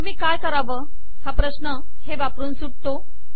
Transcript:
मग मी काय करावे हा प्रश्न हे वापरून सुटतो